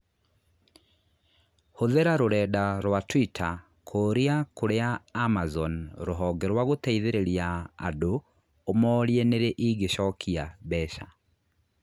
Hũthĩra rũrenda rũa tũita kũũria kũria Amazon rũhonge rwa gũteithĩrĩria andũ ũmorie nĩrĩ ingĩchokĩa mbeca